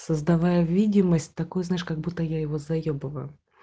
создавая видимость такой знаешь как будто я его заебываю